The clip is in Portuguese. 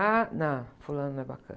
Ah, não, fulano não é bacana.